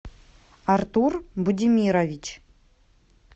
артур будимирович